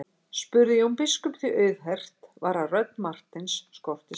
spurði Jón biskup því auðheyrt var að rödd Marteins skorti sannfæringu.